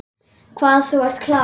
Hvað þú ert klár.